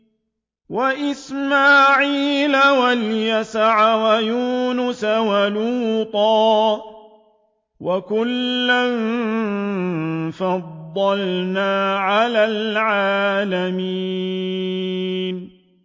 وَإِسْمَاعِيلَ وَالْيَسَعَ وَيُونُسَ وَلُوطًا ۚ وَكُلًّا فَضَّلْنَا عَلَى الْعَالَمِينَ